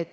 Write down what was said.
eurot.